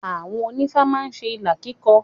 Àwọn onífá má ń ṣe ìlà kíkọ.